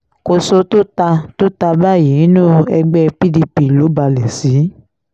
kòso tó ta tó ta báyìí inú ẹgbẹ́ pdp ló balẹ̀ sí